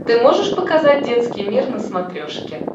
ты можешь показать детский мир на смотрешке